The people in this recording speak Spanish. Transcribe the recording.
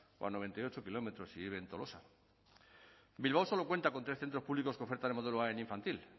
o a noventa y ocho kilómetros si vive en tolosa bilbao solo cuenta con tres centros públicos que ofertan el modelo a en infantil